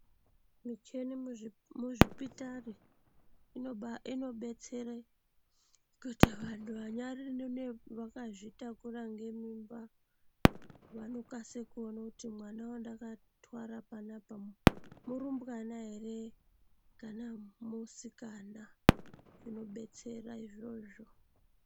Michini muzvipitari inobetsere kuti vantu vanyari vakazvitakura ngemimba vanokase kuona kuti mwana wandakatwara panapa murumbwana ere kana musikana zvinobetsera izvozvo.